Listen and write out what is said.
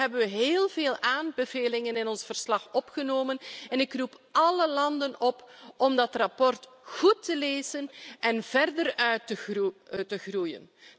Daarom hebben we heel veel aanbevelingen in ons verslag opgenomen en ik roep alle landen op om dat verslag goed te lezen en verder uit te groeien.